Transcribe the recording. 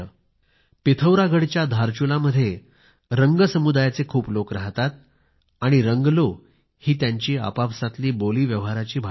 पिथौरागढच्या धारचुला मध्ये रंग समुदायाचे खूप लोक राहतात आणि रंगलो हि त्यांची आपापसातील व्यवहाराची बोली भाषा आहे